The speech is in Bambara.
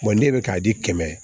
ne bɛ k'a di kɛmɛ ma